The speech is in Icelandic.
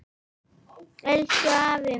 Elsku afi minn.